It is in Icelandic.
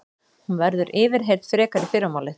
Hún verður yfirheyrð frekar í fyrramálið